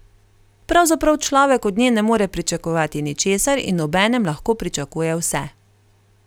Pravzaprav človek od nje ne more pričakovati ničesar in obenem lahko pričakuje vse.